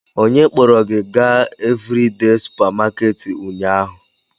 Onye kpọrọ gị gaa Evridee supamakeeti ụnyaahụ?